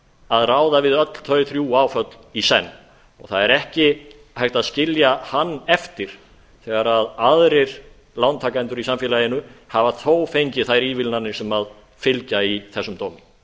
að ráða við öll þau þrjú áföll í senn og það er ekki hægt að skilja hann eftir þegar aðrir lántakendur í samfélaginu hafa þó fengið þær ívilnanir sem fylgja í þessum dómi